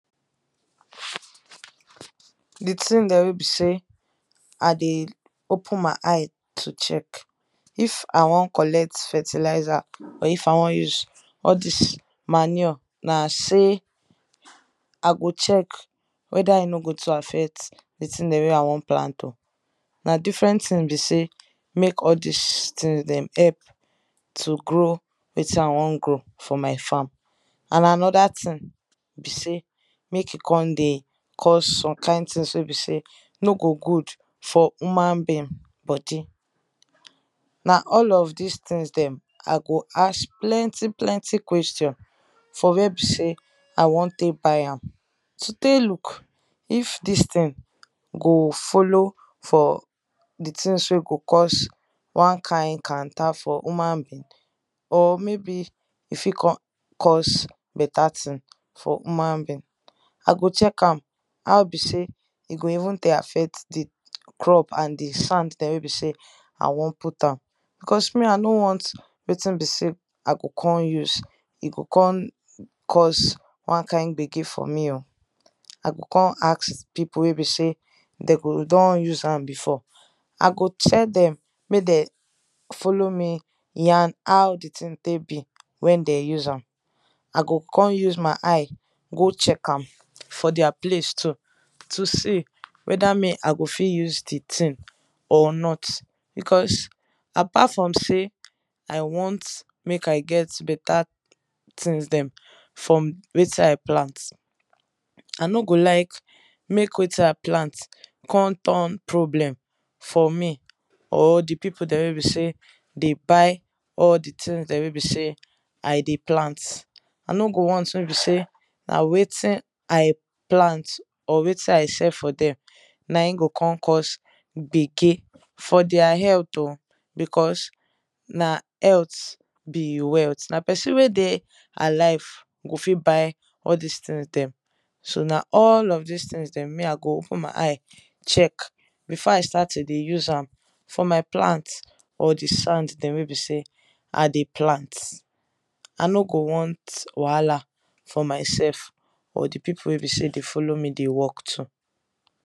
Di thing dem wey be sey I dey open my eye to check if I wan collect fertilizer or if I wan use all dis manure na sey I go check whether e no go too affect di thing dem wey I wan plant oh, na different thing be sey, make all dis thing dem help to grow wetin I wan grow for my farm, and another thing be sey, make e come dey cause some kind things wey be sey no go good for human being body. Na all of dis things dem, I go ask plenty plenty question for where be sey I want take buy am, to take look if dis thing go follow for di things wey go cause one kind kanta for human being or may be e fit come cause better thing for human being, I go check am how be sey e go affect di crop dem and di sand dem wey be sey I wan put am because me I nor want wetin be sey, I go come use e go come cause one kind gbege for me oh. I go come ask di people wey be sey dem go don use am before, I go tell dem make dem follow me yan how di thing take be wen dem use am. I go come use my eye go check am for their place too, to see whether me I go fit use di thing or not, because apart from sey I want make I get better things dem from wetin I plant, I no go like make wetin I plant come turn problem for me, or di people dem wey be sey, dey buy all di things dem wey be sey I dey plant. I no go want make be sey na wetin I plant or wetin I sell for dem, na im go come cause gbege for their health oh, because na health be wealth, na person wey dey alive, go fit buy all dis things dem so na all of dis thing dem, me I go open my eye check before I start to dey use am for my plant or di sand dem wey be sey I dey plant I no go want wahala for mysef or di people wey be sey dey follow me dey work too.